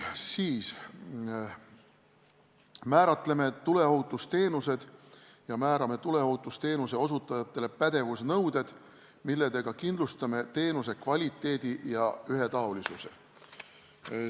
Edasi, määratleme tuleohutusteenused ja määrame tuleohutusteenuse osutajale pädevusnõuded, millega kindlustame teenuse kvaliteedi ja ühetaolisuse.